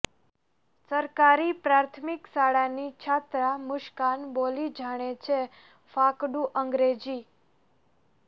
સરકારી પ્રાથમિક શાળાની છાત્રા મુસ્કાન બોલી જાણે છે ફાકડું અંગ્રેજી